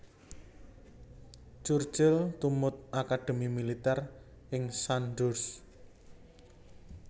Churchill tumut akadhemi militèr ing Sandhurst